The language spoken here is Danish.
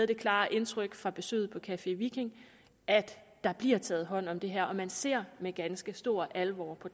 det klare indtryk fra besøget på café viking at der bliver taget hånd om det her og at man ser med ganske stor alvor på